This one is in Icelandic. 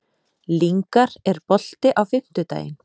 Lyngar, er bolti á fimmtudaginn?